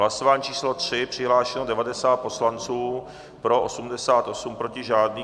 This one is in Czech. Hlasování číslo 3, přihlášeno 90 poslanců, pro 88, proti žádný.